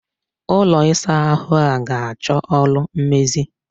Ụlọ ịsa ahụ a ga achọ ọrụ mmezi.